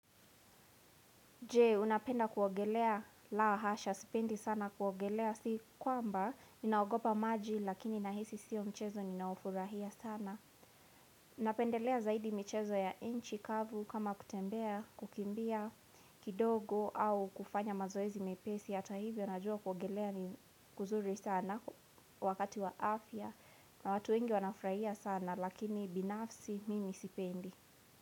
Je, unapenda kuogelea laa hasha, sipendi sana kuogelea si kwamba, ninaogopa maji lakini nahisi sio mchezo ninaofurahia sana. Napendelea zaidi michezo ya inchi kavu kama kutembea, kukimbia, kidogo au kufanya mazoezi mepesi, hata hivyo najua kuogelea ni kuzuri sana wakati wa afya na watu wengi wanafurahia sana lakini binafsi mimi sipendi.